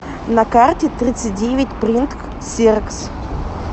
на карте тридцатьдевятьпринт ксерокс